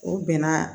O bɛnna